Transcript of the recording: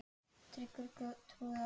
Tryggur og trúr í öllu.